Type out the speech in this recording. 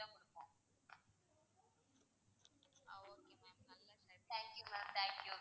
thank you ma'am thank you.